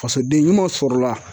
Fasoden ɲumanw sɔrɔla